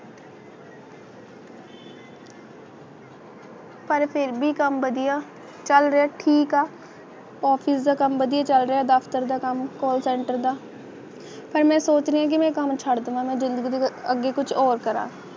ਪਰ ਫਿਰ ਵੀ ਕੰਮ ਵਧੀਆ ਚੱਲ ਰਿਹਾ ਠੀਕ ਆ office ਦਾ ਕੰਮ ਬਹੁਤ ਡਾਕਟਰ ਦਾ ਕੰਮ call center ਦਾ ਪਰ ਮੈਂ ਸੋਚ ਰਹੀ ਹੈ ਭਾਵੇਂ ਸੜਕਾਂ ਦੀ ਮਦਦ ਲਈ ਅੱਗੇ ਕੁਝ ਉਹ ਕਰਦਾ